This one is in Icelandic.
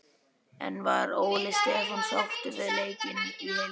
En var Óli Stefán sáttur við leikinn í heild?